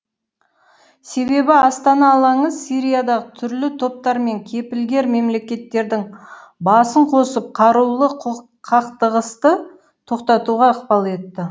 себебі астана алаңы сириядағы түрлі топтар мен кепілгер мемлекеттердің басын қосып қарулы қақтығысты тоқтатуға ықпал етті